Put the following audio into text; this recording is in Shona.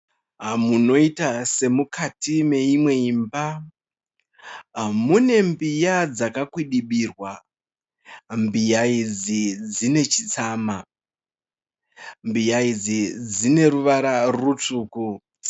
Munoiita semukati meimwe imba mune mbiya dzakakwidibirwa. Mbiya idzi dzine chitsama. Mbiya idzi dzine ruvara rutsvuku.